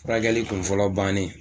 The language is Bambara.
Furakɛli kunfɔlɔ bannen